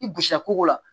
I b'osiya kogo la